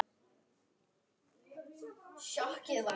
Takið líka bönd í hlið.